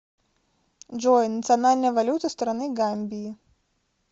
джой национальная валюта страны гамбии